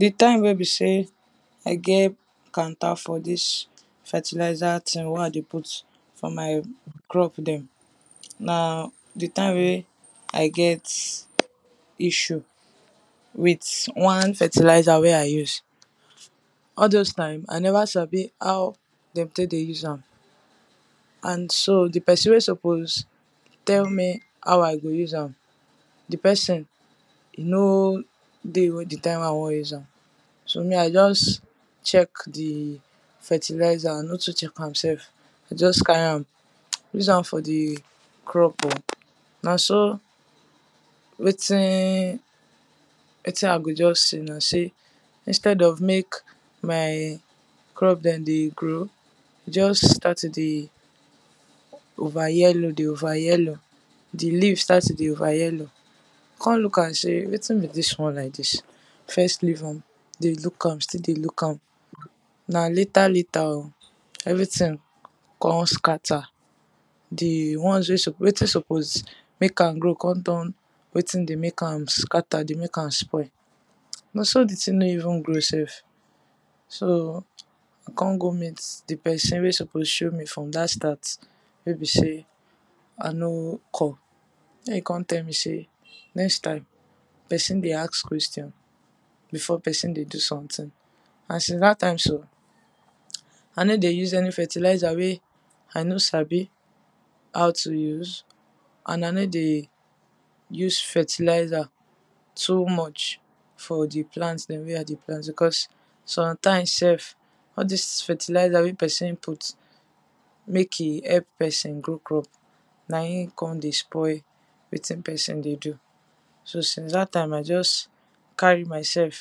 Dey time wey be sey i get kwanter for dis fertilizer thing wey i dey put for my crop dem. na dey time wey i get issue with one fertilizer wey i use all those time, i never sabi how dey take dey use am and so dey person wey suppose tell me how i go use am de person no dey wen de time wey i wan use am so me i just check the fertillizer, i no too check am sef i just carry am, use am for the crop o, na so wetin wetin i go just know sey, instead of make my crop dem dey grow just start to dey over yellow dey over yellow the leaves start to dey over yellow i come look am sey, wetin be dis one like this i first leave am, dey look am, still dey look am na later later o everything con scatter the ones wey suppose, wetin suppose make am grow come turn wetin dey make am scatter, dey make am spoil na so dey thing no even grow sef so i come go meet dey person wey suppose show me from that start wey be sey i no come na im come tell me sey next time, person dey ask question before person dey do something. and since that time so i no dey use any fertilizer wey i no sabi how to use, and i no dey use fertilizer too much for the plants dem wey i dey plant because sometimes sef all these fertilizers wey person put make im help person grow crop na im come dey spoil wetin person dey do so since that time i just, carry myself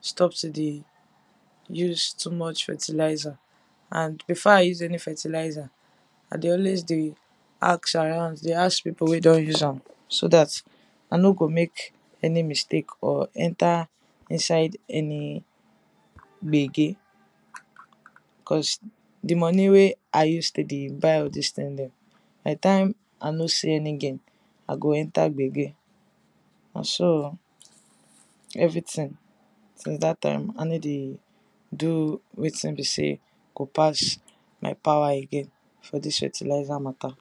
stop to dey use too much fertilizer and before i use any fertilizer, i dey always dey ask around, dey ask people wey don use am so that i no go make any mistake or enter inside any gbege cos dey money wey i dey use dey buy all these dem by time, i no see any gain i go enter gbege na so everything since that time, i no do wetin be sey go pass my power again for this fertilizer matter.